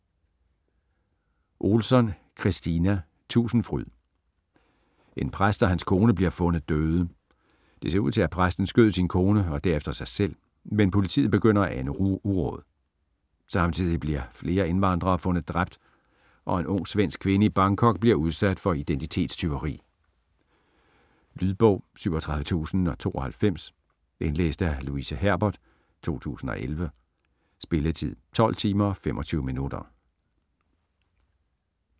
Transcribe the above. Ohlsson, Kristina: Tusindfryd En præst og hans kone bliver fundet døde. Det ser ud til, at præsten skød sin kone og derefter sig selv, men politiet begynder at ane uråd. Samtidig bliver flere indvandrere fundet dræbt og en ung svensk kvinde i Bangkok bliver udsat for identitetstyveri. Lydbog 37092 Indlæst af Louise Herbert, 2011. Spilletid: 12 timer, 25 minutter.